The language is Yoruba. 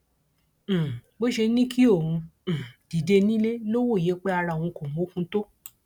um bó ṣe ní kí òun um dìde nílé ló wòye pé ara òun kò mókun tó